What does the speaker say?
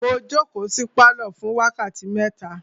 Mo jókòó sí pálọ̀ fún wákàtí mẹ́ta.